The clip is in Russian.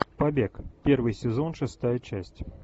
побег первый сезон шестая часть